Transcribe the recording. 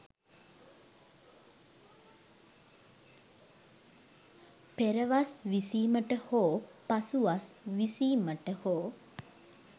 පෙරවස් විසීමට හෝ පසුවස් විසීමට හෝ